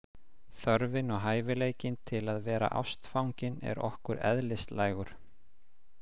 Þörfin og hæfileikinn til að vera ástfangin er okkur eðlislægur.